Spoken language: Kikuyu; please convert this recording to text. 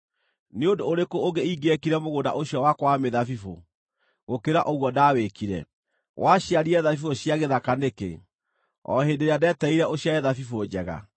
Nĩ ũndũ ũrĩkũ ũngĩ ingĩekire mũgũnda ũcio wakwa wa mĩthabibũ gũkĩra ũguo ndawĩkire? Waciarire thabibũ cia gĩthaka nĩkĩ, o hĩndĩ ĩrĩa ndetereire ũciare thabibũ njega?